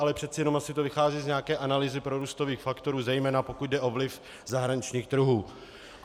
Ale přece jenom asi to vychází z nějaké analýzy prorůstových faktorů, zejména pokud jde o vliv zahraničních trhů.